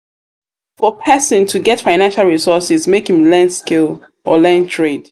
for persin to get financial resources make im learn skill or learn trade